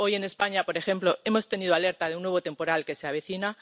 Hoy en España, por ejemplo, hemos tenido alerta de un nuevo temporal que se avecina.